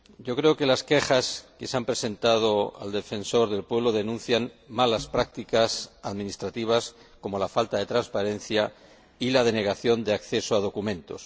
Creo que las quejas que se han presentado al Defensor del Pueblo denuncian malas prácticas administrativas, como la falta de transparencia y la denegación de acceso a documentos.